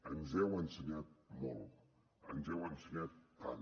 ens heu ensenyat molt ens heu ensenyat tant